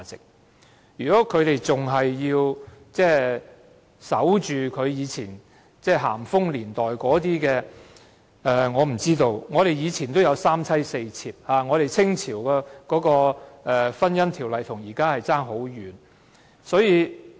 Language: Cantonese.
所以，建制派議員不應再守着咸豐年代的一套，以往有三妻四妾，清朝的婚姻制度與現行的法例亦差天共地。